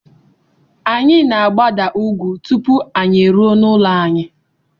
Anyị na-agbada ugwú tupu anyị eruo n'ụlọ anyị.